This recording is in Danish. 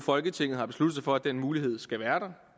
folketinget har besluttet sig for at den mulighed skal være der